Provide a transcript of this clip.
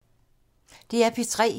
DR P3